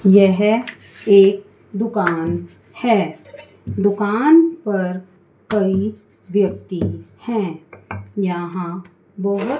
यह एक दुकान है दुकान पर कई व्यक्ति हैं यहां बहोत--